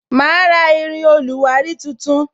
Ma ra irin oluwari tuntun